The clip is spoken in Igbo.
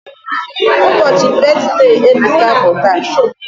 Ubochi brithday Ebuka bu taa